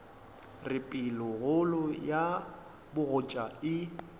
re pelokgolo ya bogoja e